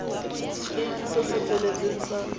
setefikeiti se se feletseng sa